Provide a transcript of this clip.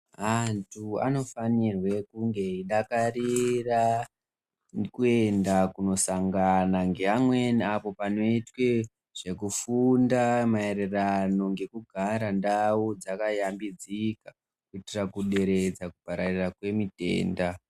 Antu ano fanirwe kunge eyi dakarira ku enda kuno sangana nge amweni awo pano itwe zveku funda ma ererano ngeku gara ndau dzaka yambidzika kuitira ku deredza kupararira kwe mitenda.